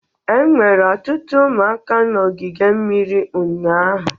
Enwere ọtụtụ ụmụaka na ogige mmiri ụnyaahụ